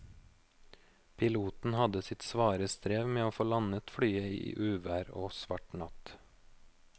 Piloten hadde sitt svare strev med å få landet flyet i uvær og svart natt.